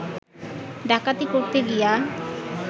ডাকাতি করিতে গিয়া